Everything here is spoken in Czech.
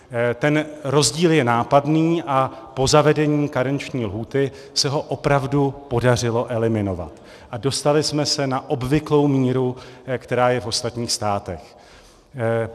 Ten rozdíl je nápadný a po zavedení karenční lhůty se ho opravdu podařilo eliminovat a dostali jsme se na obvyklou míru, která je v ostatních státech.